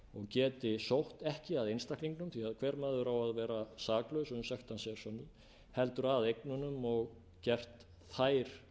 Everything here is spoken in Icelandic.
og geti sótt ekki að einstaklingum því hver maður á að vera saklaus uns sekt hans er